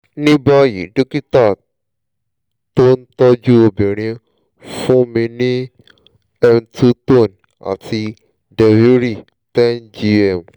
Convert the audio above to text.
ní báyìí dókítà tó ń tọ́jú obìnrin fún mi ní two tone àti deviry ten gm